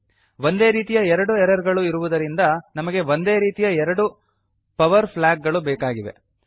ಒಂದೇ ರೀತಿಯ ಎರಡು ಎರರ್ ಗಳು ಇರುವುದರಿಂದ ನಮಗೆ ಒಂದೇ ರೀತಿಯ ಎರಡು ಪವರ್ ಫ್ಲಾಗ್ ಗಳು ಬೇಕಾಗಿವೆ